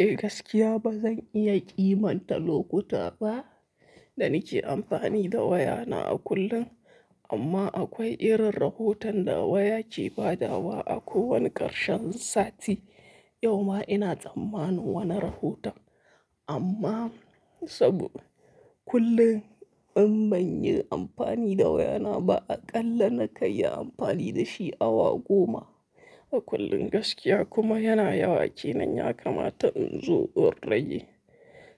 Eh gaskiya bazan iya kimanta lokuta ba da nike amfani da wayana a kullum amma akwai irin rahoton da waya ke badawa a ko wani karshen sati. Yau ma ina tsammanin wani rahoto amma saboda kullum in banyi amfani da wayana ba aƙalla na kai amfani da shi awa goma a kullum gaskiya kuma yana yawa kenan yakamata in zo doraye